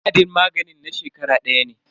Wa'adin maganin na shekara daya ne.